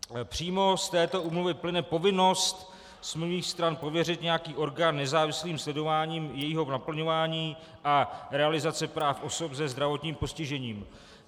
Přímo z této úmluvy plyne povinnost smluvních stran pověřit nějaký orgán nezávislým sledováním jejího naplňování a realizace práv osob se zdravotním postižením.